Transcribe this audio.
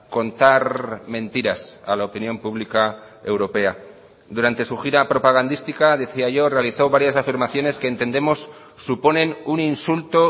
contar mentiras a la opinión pública europea durante su gira propagandística decía yo realizó varias afirmaciones que entendemos suponen un insulto